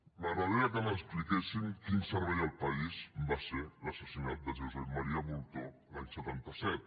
m’agradaria que m’expliquessin quin servei al país va ser l’assassinat de josep maria bultó l’any setanta set